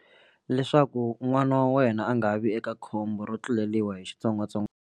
Leswaku n'wana wa wena a nga vi eka khombo ro tluleriwa hi .